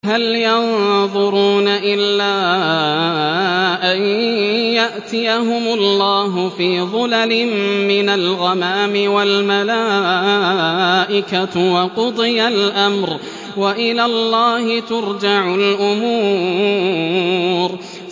هَلْ يَنظُرُونَ إِلَّا أَن يَأْتِيَهُمُ اللَّهُ فِي ظُلَلٍ مِّنَ الْغَمَامِ وَالْمَلَائِكَةُ وَقُضِيَ الْأَمْرُ ۚ وَإِلَى اللَّهِ تُرْجَعُ الْأُمُورُ